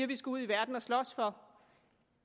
vi skal ud i verden og slås for